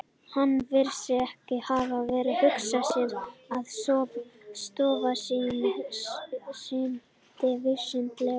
Hann virðist því hafa hugsað sér, að stofnun sín sinnti vísindalegri